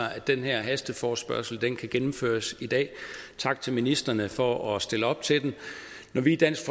at den her hasteforespørgsel kan gennemføres i dag tak til ministrene for at stille op til den når vi i dansk